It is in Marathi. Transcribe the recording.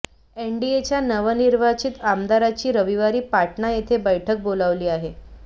एनडीएच्या नवनिर्वाचित आमदारांची रविवारी पाटणा येथे बैठक बोलावली आहे